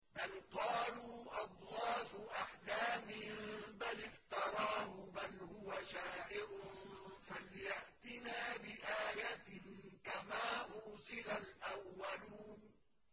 بَلْ قَالُوا أَضْغَاثُ أَحْلَامٍ بَلِ افْتَرَاهُ بَلْ هُوَ شَاعِرٌ فَلْيَأْتِنَا بِآيَةٍ كَمَا أُرْسِلَ الْأَوَّلُونَ